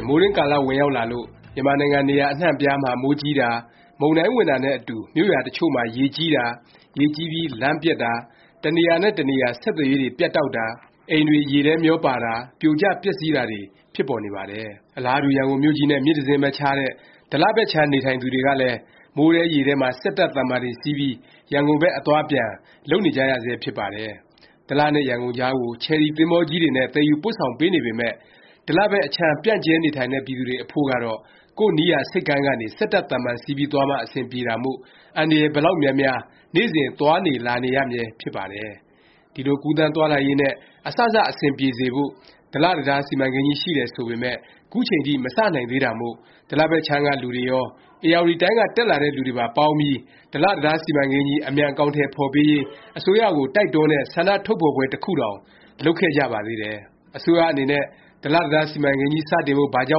င် မိုးတွင်းကာလ ဝင်ရောက်လာလို့ မြန်မာနိုင်ငံ နေရာအနှံ့အပြားမှာ မိုးကြီးတာ၊ မုန်တိုင်းဝင်တာ နဲ့ အတူ မြို့ရွာအချို့မှာ ရေကြီးတာ၊ ရေကြီးပြီး လမ်းပျက်တာ၊ တနေရာနဲ့ တနေရာ ဆက်သွယ်ရေးတွေ ပြတ်တောက်တာ၊ အိမ်တွေ ရေထဲမျောပါတာ၊ ပြိုကျ ပျက်စီးတာတွေ ဖြစ်ပေါ်နေပါတယ်။ အလားတူ ရန်ကုန်မြို့ကြီးနဲ့ မြစ်တစင်းပဲခြားတဲ့ ဒလဘက်ခြမ်း နေထိုင်သူတွေဟာလည်း မိုးထဲရေထဲမှာ စက်တပ် သဗ္ဗာန်တွေစီးပြီး ရန်ကုန်ဘက် အသွားအပြန် လုပ်နေကြရဆဲ ဖြစ်ပါတယ်။ ဒလနဲ့ ရန်ကုန်ကြားကို ချယ်ရီ သင်္ဘောကြီးတွေနဲ့ သယ်ယူပို့ဆောင်ပေးနေပေမယ့် ဒလဘက်အခြမ်း ပျံ့ကျဲနေထိုင်တဲ့ ပြည်သူတွေ အဖို့ကတော့ ကိုယ့်နီးရာဆိပ်ကမ်းကနေ စက်တပ် သဗ္ဗာန်စီးပြီး သွားမှ အဆင်ပြေတာမို့ အန္တရာယ် ဘယ်လောက်များများ နေ့စဉ် သွားနေလာနေရမြဲ ဖြစ်ပါတယ်။ ဒီလို ကူးသန်းသွားလာရေး နဲ့ အစစ အဆင်ပြေစေဖို့ ဒလ တံတား စီမံကိန်းကြီး ရှိတယ်ဆိုပေမယ့် ခုချိန်ထိ မစနိုင်သေးတာမို့ ဒလဘက်ခြမ်းကလူတွေရော၊ ဧရာဝတီတိုင်းက တက်လာတဲ့ လူတွေပါ ပေါင်းပြီး ဒလ တံတားစီမံကိန်းကြီး အမြန် အကောင်အထည် ဖော်ပေးရေး အစိုးရကို တိုက်တွန်းတဲ့ ဆန္ဒထုတ်ဖော်ပွဲ တစ်ခုတောင် လုပ်ခဲ့ကြပါသေးတယ်။ အစိုးရအနေနဲ့ ဒလ တံတား စီမံကိန်းကြီး စတင်ဖို့ ဘာကြော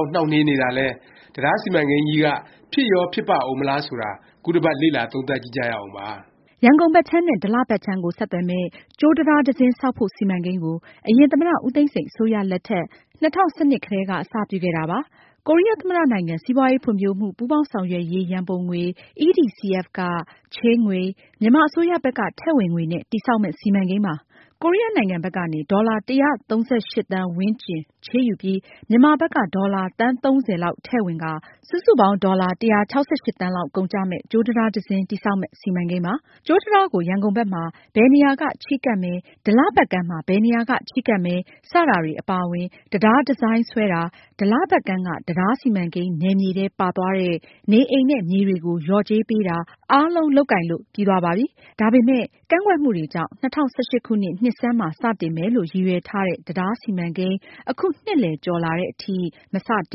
င့် နှောင့်နှေးနေတာလဲ၊ တံတားစီမံကိန်းကြီးက ဖြစ်ရော ဖြစ်ပါ့ဦးမလား ဆိုတာ ခုတပတ် လေ့လာသုံးသပ်ကြည့်ကြရအောင်ပါ။ ရန်ကုန်ဘက်ခြမ်း နဲ့ ဒလ ဘက်ခြမ်းကို ဆက်သွယ်မယ့် ကြိုးတံတား တစင်းဆောက်ဖို့ စီမံကိန်းကို အရင် သမ္မတ ဦးသိန်းစိန် အစိုးရလက်ထက် ၂၀၁၂ ကတည်းက အစပြုခဲ့တာပါ။ ကိုရီးယားသမ္မတနိုင်ငံ စီးပွားရေးဖွံ့ဖြိုးမှု ပူးပေါင်းဆောင်ရွက်ရေး ရံပုံငွေ EDCF ကချေးငွေ၊ မြန်မာအစိုးရဘက်က ထည့်ဝင်ငွေနဲ့ တည်ဆောက်မယ့် စီမံကိန်းပါ။ ကိုရီးယားနိုင်ငံဘက်ကနေ ဒေါ်လာ ၁၃၈ သန်းဝန်းကျင် ချေးယူပြီး မြန်မာဘက်က ဒေါ်လာ သန်း ၃၀ လောက်ထည့်ဝင်ကာ စုစုပေါင်း ဒေါ်လာ ၁၆၈ သန်းလောက် ကုန်ကျမယ့် ကြိုးတံတား တစင်း တည်ဆောက်မယ့် စီမံကိန်းပါ။ ကြိုးတံတားကို ရန်ကုန်ဘက်မှာ ဘယ်နေရာက ချဉ်းကပ်မယ်၊ ဒလဘက်ကမ်းမှာ ဘယ်နေရာက ချဉ်းကပ်မယ် စတာတွေ အပါအဝင် တံတားဒီဇိုင်းဆွဲတာ၊ ဒလဘက်ကမ်းက တံတားစီမံကိန်းနယ်မြေထဲ ပါသွားတဲ့ နေအိမ်နဲ့ မြေတွေကို လျော်ကြေးပေးတာ အားလုံး လုပ်ကိုင်လို့ ပြီးသွားပါပြီ။ ဒါပေမယ့် ကန့်ကွက်မှုတွေကြောင့် ၂၀၁၈ ခုနှစ် နှစ်ဆန်းမှာ စတင်မယ်လို့ ရည်ရွယ်ထားတဲ့ တံတားစီမံကိန်း အခုနှစ်လည် ကျော်လာသည်အထိ မစတ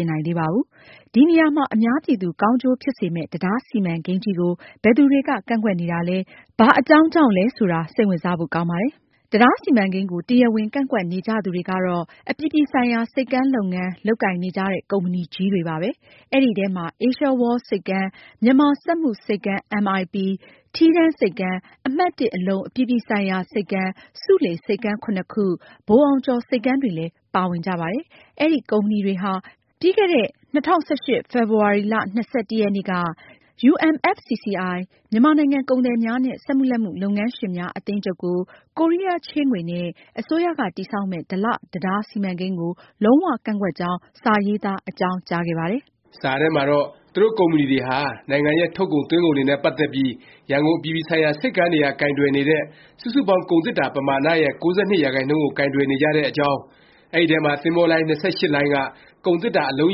င်နိုင်သေးပါဘူး။ ဒီနေရာမှာ အများပြည်သူ ကောင်းကျိုးဖြစ်စေမယ့် တံတားစီမံကိန်းကြီးကို ဘယ်သူတွေက ကန့်ကွက်နေတာလဲ၊ ဘာအကြောင်းကြောင့်လဲ ဆိုတာ စိတ်ဝင်စားဖို့ ကောင်းပါတယ်။ တံတားစီမံကိန်းကို တရားဝင် ကန့်ကွက်နေကြသူတွေကတော့ အပြည်ပြည်ဆိုင်ရာ ဆိပ်ကမ်း လုပ်ငန်း လုပ်ကိုင်နေကြတဲ့ ကုမ္ပဏီကြီးတွေပါပဲ။ အဲဒီထဲမှာ အေးရှားဝေါလ် ဆိပ်ကမ်း၊ မြန်မာစက်မှုဆိပ်ကမ်း ၊ ထီးတန်းဆိပ်ကမ်း၊ အမှတ် အလုံ အပြည်ပြည်ဆိုင်ရာ ဆိပ်ကမ်း၊ ဆူးလေဆိပ်ကမ်း ခု၊ ဗိုလ်အောင်ကျော် ဆိပ်ကမ်းတွေလည်း ပါဝင်ကြပါတယ်။ အဲဒီ ကုမ္ပဏီတွေဟာ ပြီးခဲ့တဲ့ ၂၀၁၈ ဖေဖေါ်ဝါရီ ၂၁ ရက်နေ့က UMFCCI မြန်မာနိုင်ငံ ကုန်သည်များနဲ့ စက်မှုလက်မှု လုပ်ငန်းရှင်များ အသင်းချုပ်ကို ကိုရီးယား ချေးငွေနဲ့ အစိုးရက တည်ဆောက်မယ့် ဒလ တံတား စီမံကိန်းကို လုံး၀ ကန့်ကွက်ကြောင်း စာရေးသား အကြောင်းကြားခဲ့ပါတယ်။ စာထဲမှာတော့ သူတို့ ကုမ္ပဏီတွေဟာ နိုင်ငံရဲ့ ထုတ်ကုန် သွင်းကုန်တွေနဲ့ ပတ်သက်ပြီး ရန်ကုန် အပြည်ပြည်ဆိုင်ရာ ဆိပ်ကမ်းတွေက ကိုင်တွယ်နေတဲ့ စုစုပေါင်း ကုန်သေတ္တာ ပမာဏရဲ့ ၉၂ ရာခိုင်နှုန်းကို ကိုင်တွယ်နေကြတဲ့အကြောင်း၊ အဲဒီထဲမှာ သင်္ဘောလိုင်း ၂၈ လိုင်းက ကုန်သေတ္တာ အလုံး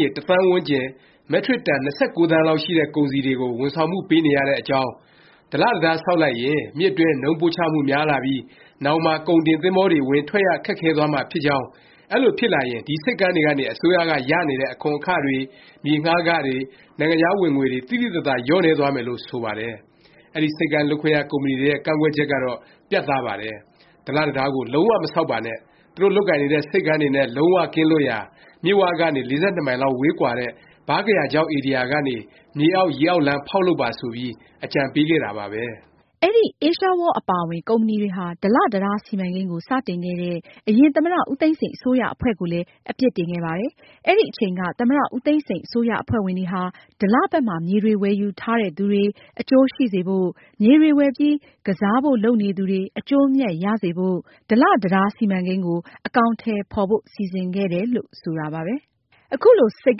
ရေ ၁ သန်းဝန်းကျင်၊ မက်ထရစ်တန် ၂၉ သန်းလောက်ရှိတဲ့ ကုန်စည်တွေကို ဝန်ဆောင်မှု ပေးနေရတဲ့အကြောင်း၊ ဒလ တံတား ဆောက်လိုက်ရင် မြစ်အတွင်း နုန်းပို့ချမှု များလာပြီး နောင်မှာ ကုန်တင်သင်္ဘောတွေ ဝင်ထွက်ရ ခက်ခဲသွားမှာ ဖြစ်ကြောင်း၊ အဲလို ဖြစ်လာရင် ဒီ ဆိပ်ကမ်းတွေကနေ အစိုးရက ရနေတဲ့ အခွန်အခတွေ မြေငှားခတွေ၊ နိုင်ငံခြား ဝင်ငွေတွေ သိသိသာသာ လျော့နည်းသွားမယ်လို့ ဆိုပါတယ်။ အဲဒီ ဆိပ်ကမ်း လုပ်ခွင့်ရ ကုမ္ပဏီတွေရဲ့ ကန့်ကွက်ချက်ကတော့ ပြတ်သားပါတယ်။ ဒလ တံတားကို လုံး၀ မဆောက်ပါနဲ့၊ သူတို့ လုပ်ကိုင်နေတဲ့ ဆိပ်ကမ်းတွေနဲ့ လုံး၀ ကင်းလွတ်ရာ၊ မြစ်၀ ကနေ ၄၂ မိုင်လောက်ကွာတဲ့ ဗားကရာချောက် ဧရိယာကနေ မြေအောက်၊ ရေအောက်လမ်း ဖောက်လုပ်ပါ ဆိုပြီး အကြံပေးခဲ့တာပါပဲ။ အဲဒီ အေးရှားဝေါလ် အပါအဝင် ကုမ္ပဏီတွေဟာ ဒလ တံတား စီမံကိန်းကို စတင်ခဲ့တဲ့ အရင် သမ္မတ ဦးသိန်းစိန် အစိုးရအဖွဲ့ကိုလည်း အပြစ်တင်ခဲ့ပါတယ်။ အဲဒီအချိန်က သမ္မတ ဦးသိန်းစိန် အစိုးရ အဖွဲ့ဝင်တွေဟာ ဒလ ဘက်မှာ မြေတွေ ဝယ်ယူထားတဲ့သူတွေ အကျိုးရှိစေဖို့၊ မြေတွေ ဝယ်ပြီး ကစားဖို့ လုပ်နေသူတွေ အကျိုးအမြတ် ရစေဖို့ ဒလ တံတား စီမံကိန်းကို အကောင်အထည် ဖော်ဖို့ စီစဉ်ခဲ့တယ် ဆိုတာပါပဲ။ အခုလို ဆိပ်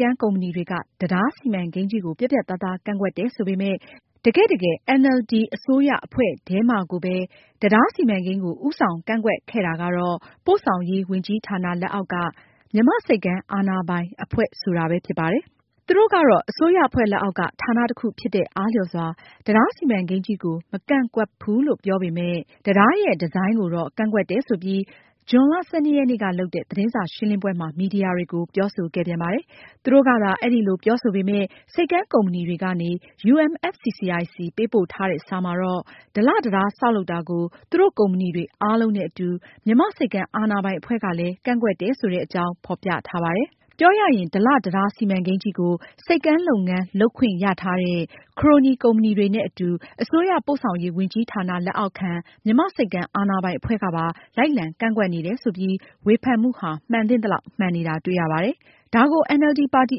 ကမ်း ကုမ္ပဏီတွေက တံတား စီမံကိန်းကြီးကို ပြတ်ပြတ်သားသား ကန့်ကွက်တယ် ဆိုပေမယ့် တကယ့်တကယ် NLD အစိုးရအဖွဲ့ထဲမှာကိုပဲ တံတား စီမံကိန်းကို ဦးဆောင်ကန့်ကွက်ခဲ့တာကတော့ ပို့ဆောင်ရေး ဝန်ကြီးဌာန လက်အောက်က မြန်မာ့ဆိပ်ကမ်း အာဏာပိုင် အဖွဲ့ ဆိုတာပဲ ဖြစ်ပါတယ်။ သူတို့ကတော့ အစိုးရအဖွဲ့လက်အောက်က ဌာန တခု ဖြစ်တဲ့အားလျော်စွာ တံတားစီမံကိန်းကြီးကို မကန့်ကွက်ဖူးလို့ ပြောပေမယ့် တံတားရဲ့ ဒီဇိုင်းကိုတော့ ကန့်ကွက်တယ် ဆိုပြီး ဇွန်လ ၁၂ ရက်နေ့က လုပ်တဲ့ သတင်းစာရှင်းလင်းပွဲမှာ မီဒီယာတွေကို ပြောဆိုခဲ့ပြန်ပါတယ်။ သူတို့ကသာ အဲလို ပြောဆိုပေမယ့် ဆိပ်ကမ်းကုမ္ပဏီတွေကနေ UMFCCI ဆီ ပေးပို့ထားတဲ့ စာမှာတော့ ဒလ တံတား ဆောက်လုပ်တာကို သူတို့ ကုမ္ပဏီတွေ အားလုံးနဲ့ အတူ မြန်မာ့ဆိပ်ကမ်း အာဏာပိုင် အဖွဲ့ကလည်း ကန့်ကွက်တယ် ဆိုတဲ့အကြောင်း ဖော်ပြထားပါတယ်။ပြောရရင် ဒလ တံတား စီမံကိန်းကြီးကို ဆိပ်ကမ်း လုပ်ငန်း လုပ်ခွင့်ရထားတဲ့ ခရိုနီ ကုမ္ပဏီတွေနဲ့အတူ အစိုးရ ပို့ဆောင်ရေးဝန်ကြီးဌာန လက်အောက်ခံ မြန်မာ့ဆိပ်ကမ်း အာဏာပိုင်အဖွဲ့ကပါ လိုက်လံ ကန့်ကွက်နေတယ်ဆိုပြီး ဝေဖန်မှုဟာ မှန်သင့်သလောက် မှန်နေတာ တွေ့ရပါတယ်။ ဒါကို NLD ပါတီ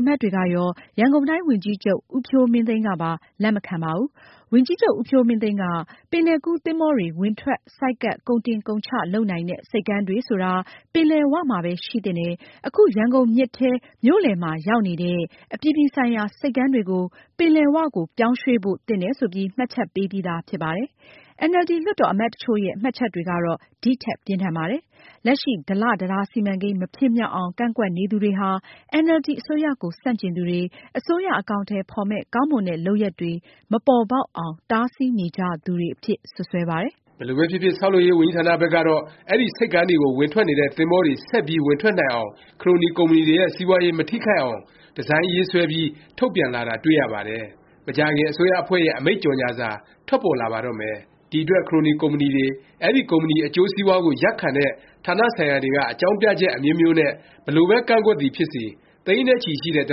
အမတ်တွေကရော၊ ရန်ကုန်တိုင်း ဝန်ကြီးချုပ် ဦးဖြိုးမင်းသိန်းကပါ လက်မခံပါဘူး။ ဝန်ကြီးချုပ် ဦးဖြိုးမင်းသိန်းက ပင်လယ်ကူး သင်္ဘောတွေ ဝင်ထွက် ဆိုက်ကပ် ကုန်တင်ကုန်ချ လုပ်နိုင်တဲ့ ဆိပ်ကမ်းတွေဆိုတာ ပင်လယ် ၀ မှာပဲ ရှိသင့်တယ်၊ အခု ရန်ကုန်မြစ်ထဲ၊ မြို့လည်မှာ ရောက်နေတဲ့ အပြည်ပြည်ဆိုင်ရာ ဆိပ်ကမ်းတွေကို ပင်လယ်၀ ကို ပြောင်းရွှေ့ဖို့ သင့်တယ် ဆိုပြီး မှတ်ချက်ပေးပြီးသား ဖြစ်ပါတယ်။ NLD လွှတ်တော် အမတ်တချို့ရဲ့ မှတ်ချက်တွေကတော့ ဒီထက် ပြင်းထန်ပါတယ်။ လက်ရှိ ဒလတံတား စီမံကိန်း မဖြစ်မြောက်အောင် ကန့်ကွက်နေသူတွေဟာ NLD အစိုးရကို ဆန့်ကျင်သူတွေ၊ အစိုးရ အကောင်အထည် ဖော်မယ့် ကောင်းမွန်တဲ့ လုပ်ရပ်တွေ မပေါ်ပေါက်အောင် တားဆီးနေကြသူတွေ အဖြစ် စွပ်စွဲပါတယ်။ ဘယ်လိုပဲဖြစ်ဖြစ် ဆောက်လုပ်ရေး ဝန်ကြီးဌာနဘက်ကတော့ အဲဒီ ဆိပ်ကမ်းတွေကို ဝင်ထွက်နေတဲ့ သင်္ဘောတွေ ဆက်ပြီး ဝင်ထွက်နိုင်အောင်၊ ခရိုနီ ကုမ္ပဏီတွေရဲ့ စီးပွားရေး မထိခိုက်အောင် ဒီဇိုင်းရေးဆွဲပြီး ထုတ်ပြန်လာတာ တွေ့ရပါတယ်။ မကြာခင် အစိုးရအဖွဲ့ရဲ့ အမိန့်ကြေငြာစာ ထွက်ပေါ်လာပါတော့မယ်။ ဒီအတွက် ခရိုနီ ကုမ္ပဏီတွေ၊ အဲဒီ ကုမ္ပဏီ အကျိုးစီးပွားကို ရပ်ခံတဲ့ ဌာနဆိုင်ရာတွေက အကြောင်းပြချက် အမျိုးမျိုးနဲ့ ဘယ်လိုပဲ ကန့်ကွက်သည်ဖြစ်စေ၊ သိန်းနဲ့ချီရှိတဲ့ ဒ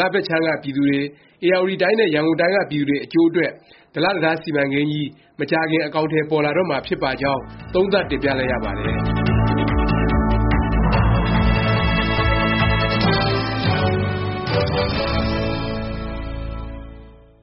လ ဘက်ခြမ်းက ပြည်သူတွေ၊ ဧရာဝတီတိုင်းနဲ့ ရန်ကုန်တိုင်းက ပြည်သူတွေ အကျိုးအတွက် ဒလ တံတား စီမံကိန်းကြီး မကြာမီ အကောင်အထည် ပေါ်လာတော့မှာ ဖြစ်ပါကြောင်း သုံးသပ်တင်ပြလိုက်ရပါတယ်။